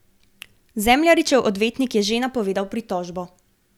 Zemljaričev odvetnik je že napovedal pritožbo.